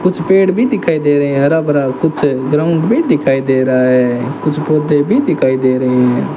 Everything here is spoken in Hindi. कुछ पेड़ भी दिखाई दे रहे है हरा भरा कुछ ग्राउंड भी दिखाई दे रहा है कुछ पौधे भी दिखाई दे रहे है।